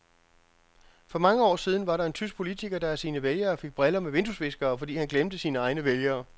For mange år siden var der en tysk politiker, der af sine vælgere fik briller med vinduesviskere, fordi han glemte sine egne vælgere.